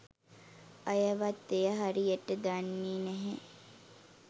අයවත් එය හරියට දන්නේ නැහැ.